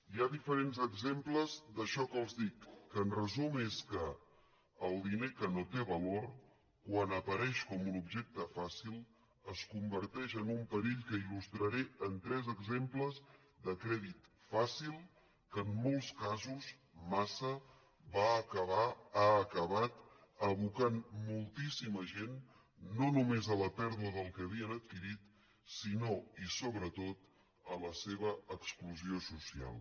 hi ha diferents exemples d’això que els dic que en resum és que el diner que no té valor quan apareix com un objecte fàcil es converteix en un perill que il·lustraré amb tres exemples de crèdit fàcil que en molts casos massa va acabar ha acabat abocant moltíssima gent no només a la pèrdua del que havien adquirit sinó i sobretot a la seva exclusió social